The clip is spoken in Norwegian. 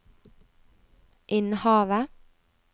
Innhavet